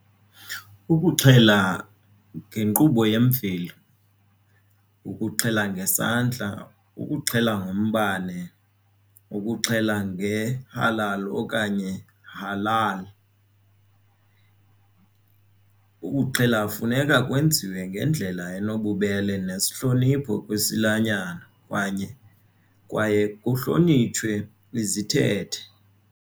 Ukuxhela yinkqubo yemveli, ukuxhela ngesandla ukuxhela ngombane ukuxhela ngehalali okanye halal. Ukuxhela funeka kwenziwe ngendlela enobubele nesihlonipho kwisilwanyana kwaye kuhlonitshwe izithethe.